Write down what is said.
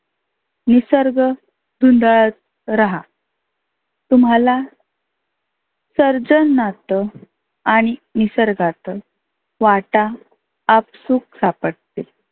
निसर्ग धुंडत रहा. तुम्हाला चरचर नात आणि निसर्गात वाटा आपसुक सापडते.